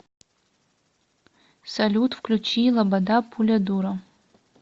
салют включи лобода пуля дура